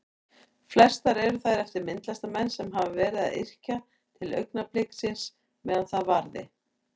Flestar eru þær eftir myndlistarmenn sem hafa verið að yrkja til augnabliksins meðan það varði.